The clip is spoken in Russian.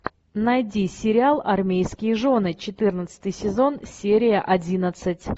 найди сериал армейские жены четырнадцатый сезон серия одиннадцать